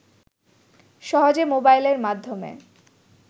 সহজে মোবাইলের মাধ্যমে